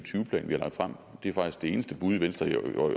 plan vi har lagt frem det er faktisk det eneste bud venstre